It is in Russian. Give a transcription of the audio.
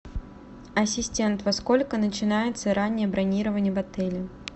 ассистент во сколько начинается раннее бронирование в отеле